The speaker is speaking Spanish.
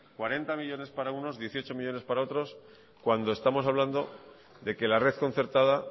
cuarenta millónes para uno dieciocho millónes para otros cuando estamos hablando de que la red concertada